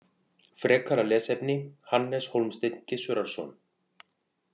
Frekara lesefni: Hannes Hólmsteinn Gissurarson.